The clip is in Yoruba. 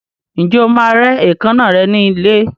Ǹjẹ́ o máa rẹ́ èékánná rẹ ní ilé?